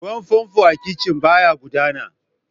Ruwan famfo a kicin ɓaya gudana.